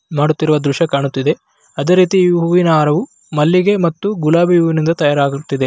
ಮಾಡುತ್ತಿರುವ ದೃಶ್ಯ ಕಾಣುತ್ತಿದೆ ಅದೇ ರೀತಿ ಹೂವಿನ ಹಾರವು ಮಲ್ಲಿಗೆ ಮತ್ತು ಗುಲಾಬಿ ಹೂವಿನಿಂದ ತಯಾರಾಗುತ್ತಿದೆ .